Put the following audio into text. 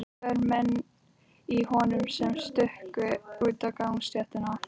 Tveir menn í honum sem stukku út á gangstéttina.